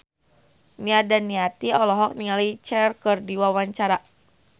Nia Daniati olohok ningali Cher keur diwawancara